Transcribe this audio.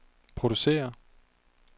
producerer